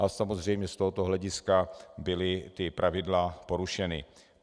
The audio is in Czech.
Ale samozřejmě z tohoto hlediska byla ta pravidla porušena.